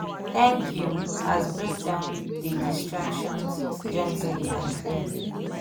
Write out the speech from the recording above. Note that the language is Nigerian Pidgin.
thank you as break down dey directions gently and clear.